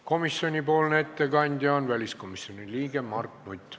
Komisjoni ettekandja on väliskomisjoni liige Mart Nutt.